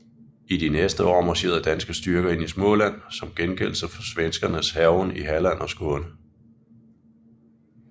I de næste år marcherede danske styrker ind i Småland som gengældelse for svenskernes hærgen i Halland og Skåne